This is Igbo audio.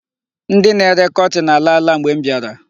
Ndị na-ere kọtin alaala mgbe m biara.